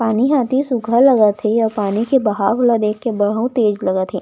पानी जाती सूखा लगा थे अऊ पानी के बहाव ल देख के बहुत तेज लगा थे ।